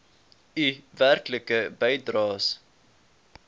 u werklike bydraes